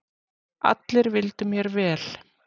Allir vildu mér vel.